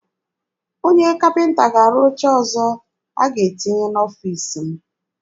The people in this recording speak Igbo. Onye kapịnta ga-arụ oche ọzọ a ga-etinye n'ọfiisi m.